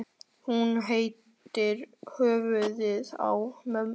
Hún heitir í höfuðið á ömmu.